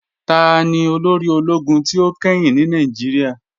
Tani olóri òlógún tí o kẹ́hìn ní Nàìjíríà?